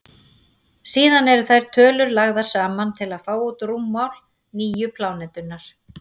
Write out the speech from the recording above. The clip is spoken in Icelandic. síðan eru þær tölur lagðar saman til að fá út rúmmál nýju plánetunnar